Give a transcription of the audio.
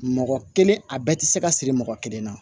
Mɔgɔ kelen a bɛɛ tɛ se ka siri mɔgɔ kelen na